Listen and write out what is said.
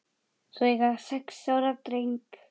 Þau eiga sex ára dreng